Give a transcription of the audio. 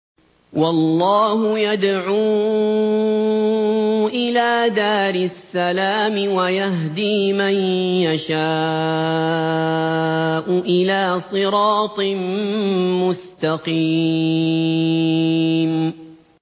وَاللَّهُ يَدْعُو إِلَىٰ دَارِ السَّلَامِ وَيَهْدِي مَن يَشَاءُ إِلَىٰ صِرَاطٍ مُّسْتَقِيمٍ